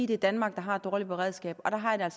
det er danmark der har et dårligt beredskab og der har jeg